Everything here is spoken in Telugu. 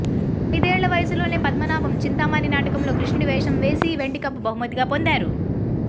అయిదేళ్ల వయసులోనే పద్మనాభం చింతామణి నాటకంలో కృష్ణుడి వేషం వేసి వెండికప్పు బహుమతిగా పొందారు